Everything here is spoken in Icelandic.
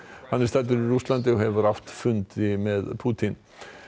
hann er staddur í Rússlandi og hefur átt fund með Pútín